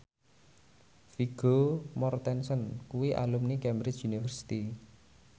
Vigo Mortensen kuwi alumni Cambridge University